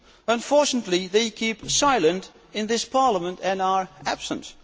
Unfortunately, they keep silent in this Parliament, and are absent.